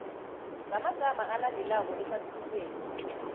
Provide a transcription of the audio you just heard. ngamagama alandelako ehlathululweni